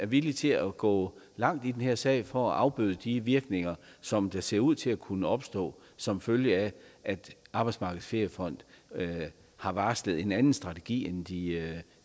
villig til at gå langt i den her sag for at afbøde de virkninger som der ser ud til at kunne opstå som følge af at arbejdsmarkedets feriefond har varslet en anden strategi end de